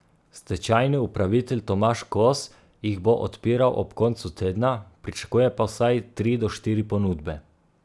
Stečajni upravitelj Tomaž Kos jih bo odpiral ob koncu tedna, pričakuje pa vsaj tri do štiri ponudbe.